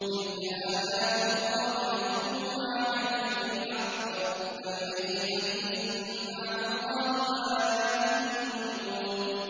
تِلْكَ آيَاتُ اللَّهِ نَتْلُوهَا عَلَيْكَ بِالْحَقِّ ۖ فَبِأَيِّ حَدِيثٍ بَعْدَ اللَّهِ وَآيَاتِهِ يُؤْمِنُونَ